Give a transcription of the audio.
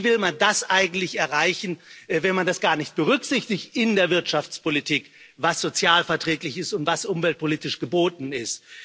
Wie will man das eigentlich erreichen, wenn man das gar nicht berücksichtigt in der Wirtschaftspolitik, was sozialverträglich ist und was umweltpolitisch geboten ist?